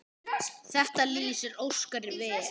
Þetta lýsir Óskari vel.